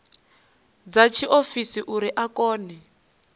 dza tshiofisi uri a kone